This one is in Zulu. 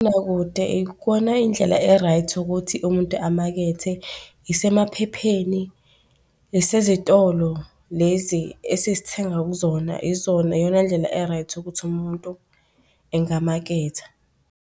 ikona indlela e-right ukuthi umuntu emakethe, isemaphepheni, isezitolo, lezi esiz'thenga kuzona izona, iyona ndlela e-right ukuthi umuntu engamaketha.